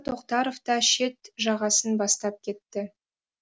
тоқтаров та шет жағасын бастап кетті